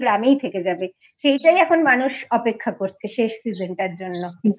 ওই গ্রামেই থেকে যাবে সেটাই এখন মানুষ অপেক্ষা করছে শেষ season টার জন্য